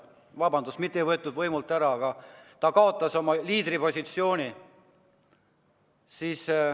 Vabandust, mitte ei võetud võimult ära, aga ta kaotas oma liidripositsiooni.